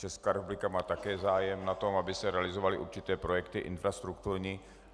Česká republika má také zájem na tom, aby se realizovaly určité projekty infrastrukturní.